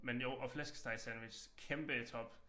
Men jo og flæskestegssandwich kæmpe i top